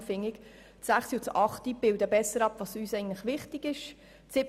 Deshalb finde ich, die Planungserklärungen 6 und 8 bilden besser ab, was uns eigentlich wichtig ist.